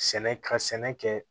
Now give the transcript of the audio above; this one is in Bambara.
Sɛnɛ ka sɛnɛ kɛ